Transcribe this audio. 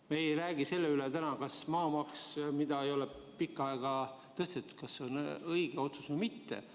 Me ei räägi täna sellest, kas maamaksu tõstmine, mida ei ole pikka aega tehtud, on õige otsus või mitte.